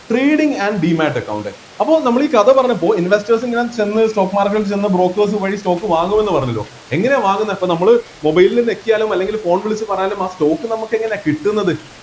trading and demate account അപ്പോ നമ്മള് ഈ കഥ പറഞ്ഞപ്പോ investors ഇങ്ങനെ ചെന്ന് stock market ൽ ചെന്ന് brokers വഴി stock വാങ്ങുമെന്ന് പറഞ്ഞല്ലോ എങ്ങനെയാ വാങ്ങുന്നെ ഇപ്പൊ നമ്മള് mobile ഞെക്കിയാലും അല്ലെങ്കില് phone വിളിച്ച് പറഞ്ഞാലും ആ stock നമ്മക്ക് എങ്ങനെയാ കിട്ടുന്നത്